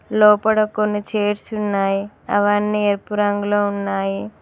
లోపడ కొన్ని చైర్స్ ఉన్నాయి అవన్నీ ఎరుపు రంగులో ఉన్నాయి.